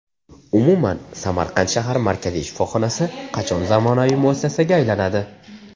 Umuman, Samarqand shahar markaziy shifoxonasi qachon zamonaviy muassasaga aylanadi?